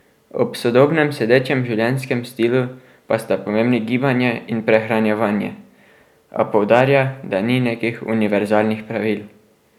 Ob sodobnem sedečem življenjskem stilu pa sta pomembni gibanje in prehranjevanje, a poudarja, da ni nekih univerzalnih pravil.